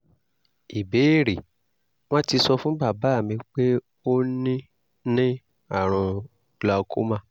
ìbéèrè: wọ́n ti sọ fún bàbá mi pé ó ní ní àrùn glaucoma